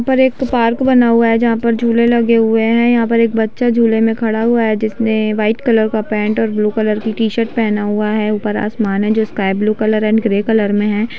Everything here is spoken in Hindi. यहाँ पर एक पार्क बना हुआ है जहां पर झूले लगे हुए है यहाँ पर एक बच्चा झूले मे खड़ा हुआ है जिसने व्हाइट कलर का पेन्ट और ब्लू कलर की टी-शर्ट पहना हुआ है ऊपर आसमान है जो sky blue colour and grey colour मे है।